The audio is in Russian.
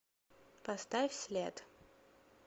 поставь след